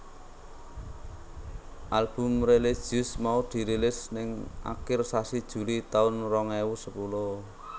Album religius mau dirilis ning akir sasi Juli taun rong ewu sepuluh